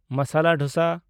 masala dosa